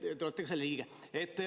Te olete ka selle liige.